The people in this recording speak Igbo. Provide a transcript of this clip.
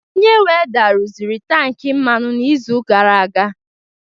Onye welder rụziri tankị mmanụ n'izu gara aga